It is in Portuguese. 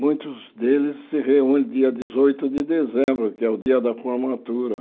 Muitos deles se reúnem dia dezoito de dezembro, que é o dia da formatura.